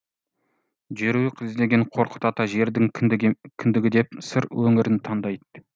жерұйық іздеген қорқыт ата жердің кіндігі деп сыр өңірін таңдайды